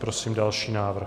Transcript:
Prosím další návrh.